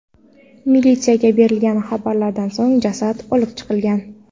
Militsiyaga berilgan xabardan so‘ng jasad olib chiqilgan.